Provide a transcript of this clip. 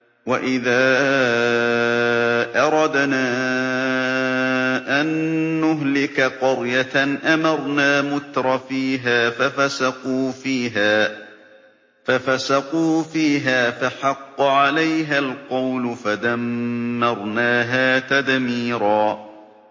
وَإِذَا أَرَدْنَا أَن نُّهْلِكَ قَرْيَةً أَمَرْنَا مُتْرَفِيهَا فَفَسَقُوا فِيهَا فَحَقَّ عَلَيْهَا الْقَوْلُ فَدَمَّرْنَاهَا تَدْمِيرًا